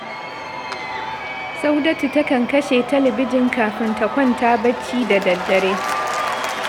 Saudatu takan kashe talabijin kafin ta kwanta barci da daddare